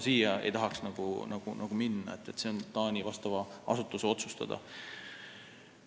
Ma ei tahaks sellesse sekkuda, see on Taani vastava asutuse otsustada.